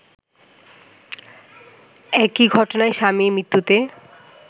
একই ঘটনায় স্বামীর মৃত্যুতে